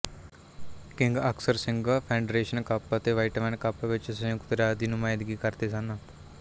king ਅਕਸਰ ਸੰਘ Federation Cup ਅਤੇ ਵਾਈਟਮੈਨ ਕੱਪ ਵਿੱਚ ਸੰਯੁਕਤ ਰਾਜ ਦੀ ਨੁਮਾਇੰਦਗੀ ਕਰਦੇ ਸਨ